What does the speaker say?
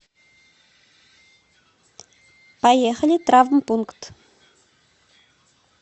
поехали травмпункт